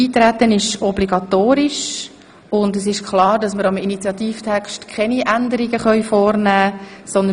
Eintreten ist obligatorisch, und es ist klar, dass wir am Initiativtext keine Änderungen vornehmen können.